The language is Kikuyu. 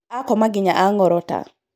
Akoma nginya ang'orota